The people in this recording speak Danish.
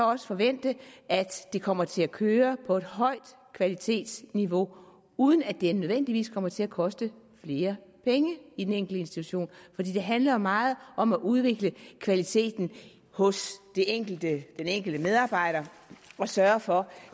også forvente at det kommer til at køre på et højt kvalitetsniveau uden at det nødvendigvis kommer til at koste flere penge i den enkelte institution for det handler jo meget om at udvikle kvaliteten hos den enkelte enkelte medarbejder og sørge for